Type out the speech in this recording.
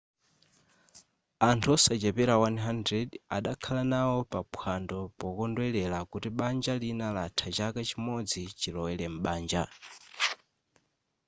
anthu osachepera 100 adakhala nawo pa phwando pokondwelera kuti banja lina latha chaka chimodzi chilowere m'banja